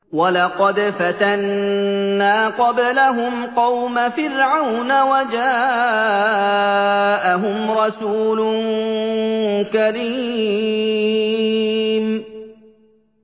۞ وَلَقَدْ فَتَنَّا قَبْلَهُمْ قَوْمَ فِرْعَوْنَ وَجَاءَهُمْ رَسُولٌ كَرِيمٌ